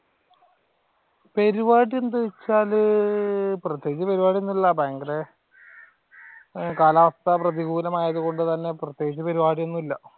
പരിപാടി എന്ത് വച്ചാല് പ്രത്യേകിച്ച് പരിപാടിയൊന്നുമില്ല ഭയങ്കര കാലാവസ്ഥ പ്രതികൂലം ആയതുകൊണ്ട് തന്നെ പ്രത്യേകിച്ച് പരിപാടിയൊന്നുമില്ല.